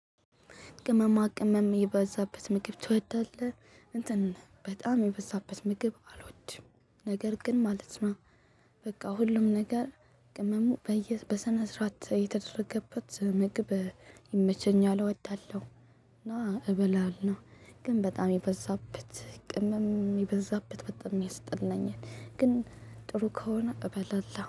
ቅመማ ቅመም የበዛበት ምግብ ትወዳለህ እንትን በጣም የበዛበት ምግብ አልወድም ነገር ግን ማለት ነው። በቃ ሁሉም ነገር ቅመሙ በየ በሰነስራት የተደረገበት ምግብ ይመቸኛል እወዳለሁ። እና እበላለሁ ግን በጣም የበዛበት ቅመም የበዛበት በጣም የሰጠልኝን ግን ጥሩ ከሆነ እበላለሁ